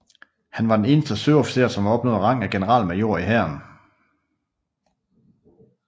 Han var den eneste søofficer som opnåede rang af generalmajor i hæren